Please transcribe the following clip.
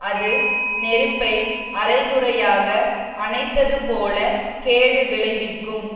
அது நெருப்பை அரை குறையாக அணைத்தது போலக் கேடு விளைவிக்கும்